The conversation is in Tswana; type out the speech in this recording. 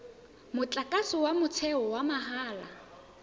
motlakase wa motheo wa mahala